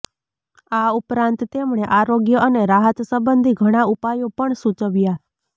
આ ઉપરાંત તેમણે આરોગ્ય અને રાહત સંબંધી ઘણા ઉપાયો પણ સૂચવ્યા